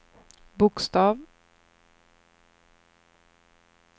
bokstav